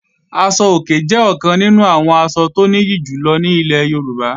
Aṣọ-òkè jẹ́ ọ̀kan nínú àwọn asọ tó nìyí jù lọ ní ilẹ̀ Yorùbá